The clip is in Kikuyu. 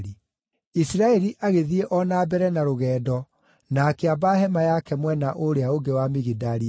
Isiraeli agĩthiĩ o na mbere na rũgendo na akĩamba hema yake mwena ũrĩa ũngĩ wa Migidali-Ederi.